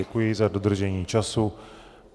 Děkuji za dodržení času.